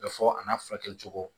Bɛ fɔ a n'a furakɛ cogo